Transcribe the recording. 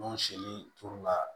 N'o siri turula